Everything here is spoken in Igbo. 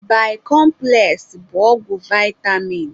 Bikọmpụles bụ ọgwụ vaịtamin.